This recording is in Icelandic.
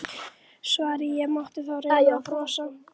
svaraði ég á móti og reyndi að brosa.